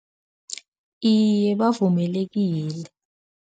Iye, bavumelekile.